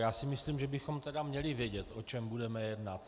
Já si myslím, že bychom tedy měli vědět, o čem budeme jednat.